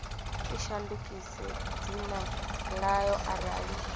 i shandukise dzina ḽayo arali